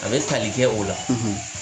A bɛ tali kɛ o la, .